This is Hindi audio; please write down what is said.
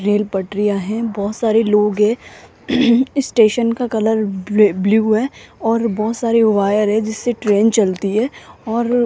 रेल पटरियां हैं बहोत सारे लोग है स्टेशन का कलर ब्ल ब्लू है और बहोत सारे वायर है जिससे ट्रेन चलती है और --